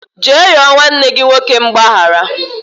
Jee yọọ nwanne gị nwoke mgbaghara